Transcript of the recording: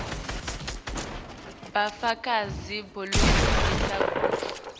bufakazi lobukhombisa kutsi